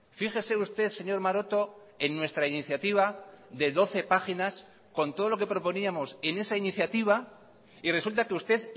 fíjese usted señor maroto en nuestra iniciativa de doce páginas con todo lo que proponíamos en esa iniciativa y resulta que usted